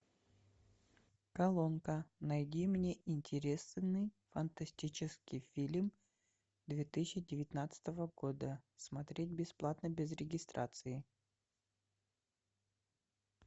колонка найди мне интересный фантастический фильм две тысячи девятнадцатого года смотреть бесплатно без регистрации